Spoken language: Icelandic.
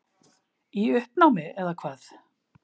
Í uppnámi, eða hvað?